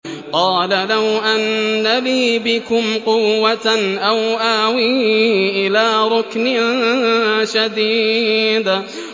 قَالَ لَوْ أَنَّ لِي بِكُمْ قُوَّةً أَوْ آوِي إِلَىٰ رُكْنٍ شَدِيدٍ